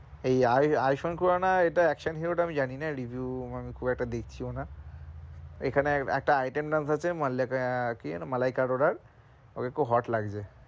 এই আই আইশঙ্করনা এটা action hero এটা action hero টা আমি জানি না review আমি খুব একটা দেখছি ও না এখানে একটা item dance আছে মল্লিক কি যেন মালাইকারোরার ওকে খুব hot লাগছে,